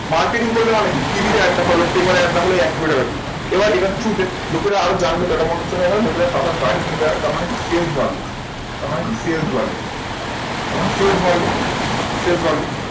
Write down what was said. Marketing করবে মানে কি টিভিতে Ads দেখালো paper এ Ads দেখালো ওই এক কোটি টাকা দিয়ে। এবার এটার through তে লোকেরা আরো জানযে টাটা মোটরস এর আবার নতুন একটা তার মানে কি sales বাড়লো, তার মানে কি sales বাড়লো। তার মানে sales বাড়লো, sales